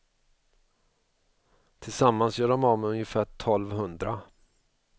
Tillsammans gör de av med ungefär tolv hundra.